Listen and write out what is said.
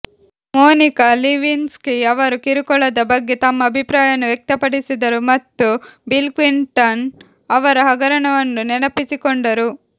Monika Lewinsky ಅವರು ಕಿರುಕುಳದ ಬಗ್ಗೆ ತಮ್ಮ ಅಭಿಪ್ರಾಯವನ್ನು ವ್ಯಕ್ತಪಡಿಸಿದರು ಮತ್ತು ಬಿಲ್ ಕ್ಲಿಂಟನ್ ಅವರ ಹಗರಣವನ್ನು ನೆನಪಿಸಿಕೊಂಡರು